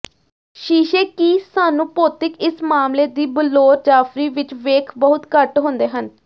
ਸ਼ੀਸ਼ੇ ਕੀ ਸਾਨੂੰ ਭੌਤਿਕ ਇਸ ਮਾਮਲੇ ਦੀ ਬਲੌਰ ਜਾਫਰੀ ਵਿੱਚ ਵੇਖ ਬਹੁਤ ਘੱਟ ਹੁੰਦੇ ਹਨ